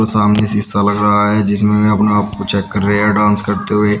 र सामने शीशा लग रहा है जिसमे मै अपने आप को चेक कर रहे डांस करते हुए।